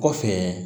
Kɔfɛ